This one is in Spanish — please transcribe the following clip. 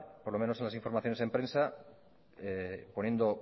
por lo menos en las información en prensa poniendo